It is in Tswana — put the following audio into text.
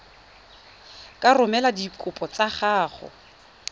ka romela dikopo tsa gago